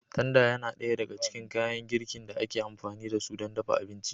Tanda yana ɗaya daga cikin kayan girkin da ake amfani da su don dafa abinci.